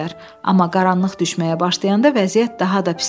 Amma qaranlıq düşməyə başlayanda vəziyyət daha da pisləşdi.